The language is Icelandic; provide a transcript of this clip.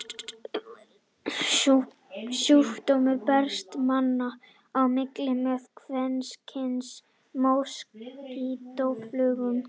Sjúkdómurinn berst manna á milli með kvenkyns moskítóflugum.